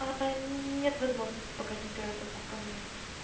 нет возможности пока температурку померить